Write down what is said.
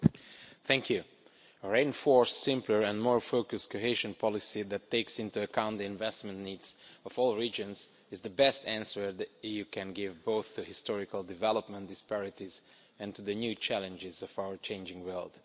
Mr President, a reinforced, simpler and more focused cohesion policy that takes into account the investment needs of all regions is the best answer the EU can give both to historical development disparities and to the new challenges of our changing world.